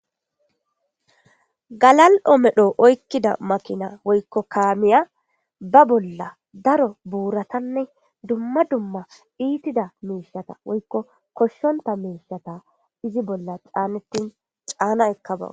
Galal'omedho oykkida makina woykko kaamiya ba bolla daro buuratanne dumma dumma iitida miishata woykko koshshonta miishata izi bolla caanettin caana ekka baw